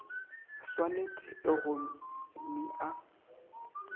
swanet e go omi a